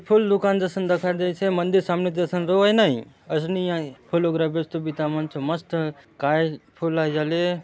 फूल दुकान जसन दखा देयसे मंदिर सामने जसन रहुआय नई असनि आय फूल वगेरा बेचतो बिता मन चो काय फूल आय जाले।